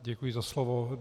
Děkuji za slovo.